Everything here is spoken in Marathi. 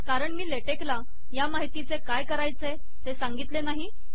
कारण मी लेटेक ला या माहितीचे काय करायचे ते सांगितले नाही